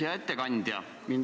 Hea ettekandja!